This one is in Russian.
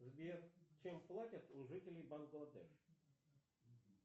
сбер чем платят у жителей бангладеш